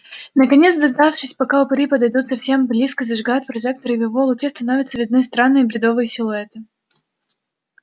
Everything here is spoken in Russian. наконец дождавшись пока упыри подойдут совсем близко зажигают прожектор и в его луче становятся видны странные бредовые силуэты